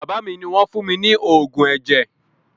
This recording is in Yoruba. Bàbá mi ni wọn fún mi ní oògùn ẹ̀jẹ̀